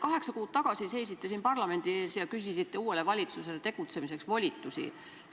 Kaheksa kuud tagasi seisite siin parlamendi ees ja küsisite uuele valitsusele tegutsemiseks volitusi.